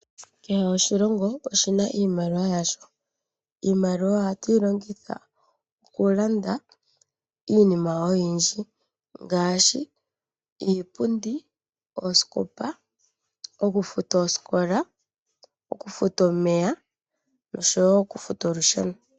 Kehe oshilongo oshina iimaliwa yasho. Iimaliwa oha tu yi longitha oku landa iinima oyindji ngaashi iipundi, oosikopa, oku futa osikola, oku futa omeya oshowo oku futa olusheno.